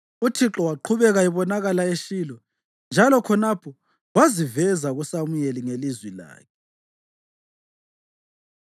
Uthixo waqhubeka ebonakala eShilo, njalo khonapho waziveza kuSamuyeli ngelizwi lakhe.